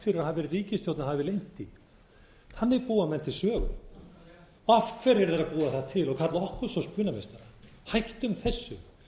í ríkisstjórn og hafi leynt því þannig búa menn til sögu af hverju eru þeir að búa það til og kalla okkur svo spunameistara hættum þessu